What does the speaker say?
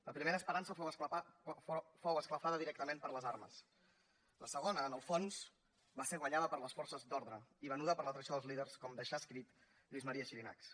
la primera esperança fou esclafada directament per les armes la segona en el fons va ser guanyada per les forces d’ordre i venuda per la traïció dels líders com deixà escrit lluís maria xirinacs